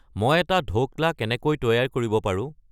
মই এটা ধৌকলা কেনেকৈ তৈয়াৰ কৰিব পাৰো